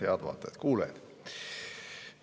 Head vaatajad-kuulajad!